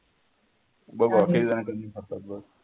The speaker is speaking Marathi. बघू